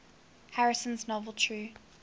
harrison's novel true